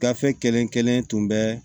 Gafe kelen kelen tun bɛ